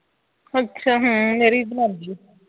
ਅੱਛਾ ਹੁ ਮੇਰੀ ਵੀ ਬਣਾਉਂਦੀ ਹੈ